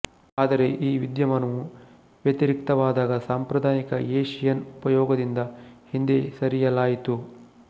ಆದರೆ ಈ ವಿದ್ಯಮಾನವು ವ್ಯತಿರಿಕ್ತವಾದಾಗ ಸಾಂಪ್ರದಾಯಿಕ ಏಶಿಯನ್ ಉಪಯೋಗದಿಂದ ಹಿಂದೆ ಸರಿಯಲಾಯಿತು